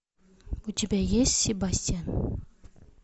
у тебя есть себастьян